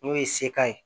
N'o ye sekan ye